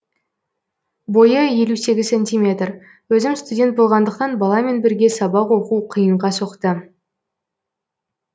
бойы елу сегіз сантиметр өзім студент болғандықтан баламен бірге сабақ оқу қиынға соқты